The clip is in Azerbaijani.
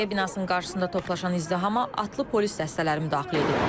Bələdiyyə binasının qarşısında toplaşan izdihama atlı polis dəstələri müdaxilə edib.